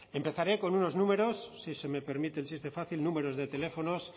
empezaré con unos números si se me permite el chiste fácil de teléfonos